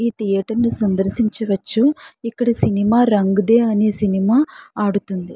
ఈ థియేటర్ ని సందర్శించవచ్చు. ఇక్కడ సినిమా రంగ్ దే అనే సినిమా ఆడుతుంది.